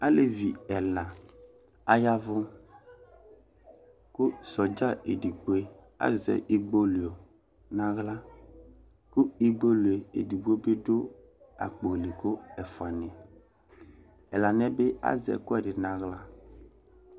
Alevi ɛla ayavʋ kʋ sɔdza edigbo azɛ igbolue n'aɣla, kʋ igbolue ɛdigbo bi dʋ aɣla kʋ ɛfua ni yɛ Ɛla ni yɛ bi azɛ ɛkʋɛdi n'aɣla